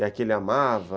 E aqui ele amava...